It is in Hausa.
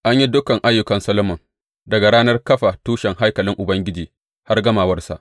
An yi dukan ayyukan Solomon, daga ranar kafa tushen haikalin Ubangiji har gamawarsa.